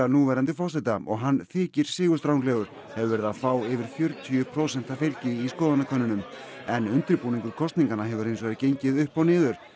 núverandi forseta og hann þykir sigurstranglegur hefur verið að fá yfir fjörutíu prósenta fylgi í skoðanakönnunum en undirbúningur kosninganna hefur hins vegar gengið upp og niður